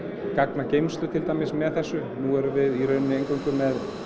gagnageymslu til dæmis með þessu nú erum við í rauninni eingöngu með